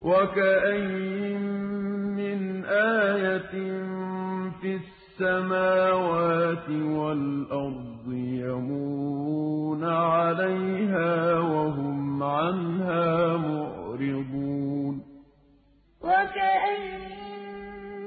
وَكَأَيِّن مِّنْ آيَةٍ فِي السَّمَاوَاتِ وَالْأَرْضِ يَمُرُّونَ عَلَيْهَا وَهُمْ عَنْهَا مُعْرِضُونَ وَكَأَيِّن